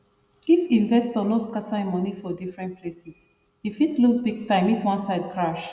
if investor no scatter him money for different places e fit lose big time if one side crash